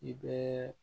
I bɛɛ